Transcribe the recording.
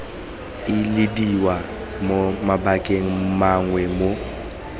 ilediwa mo mabakeng mangwe mo